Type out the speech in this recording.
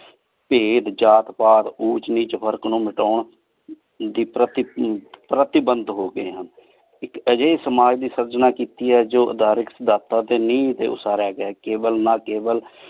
ਭੇਦ ਜਾਤ ਪਾਤ ਊੰਚ ਨੀਚ ਫਰਕ਼ ਨੂ ਮਿਤਾਂ ਦੀ ਪਰ੍ਤੀਬੰਦ ਹੋ ਗਏ ਹਨ ਇਕ ਏਹੋ ਜਾਏ ਸਮਾਜ ਦੀ ਸੇਆਰ੍ਚਨਾ ਕੀਤੀ ਆਯ ਧਰਿਕ੍ਸ ਦਾਤਾ ਡੀ ਨੀਹ ਟੀ ਉਸਾਰਯ ਗਯਾ ਆਯ ਕੇਵਲ ਨਾ ਕੇਵਲ